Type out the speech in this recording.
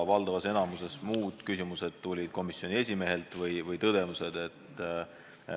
Valdavas enamikus muud küsimused ja tõdemused tulid komisjoni esimehelt.